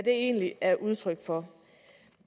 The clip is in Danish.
egentlig er udtryk for